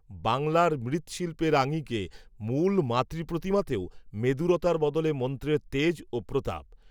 বাংলার মৃ্ৎশিল্পের আঙিকে, মূল মাতৃপ্রতিমাতেও, মেদুরতার বদলে মন্ত্রের তেজ, ও প্রতাপ